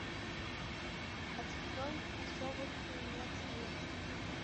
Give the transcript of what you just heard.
открой особых примет нет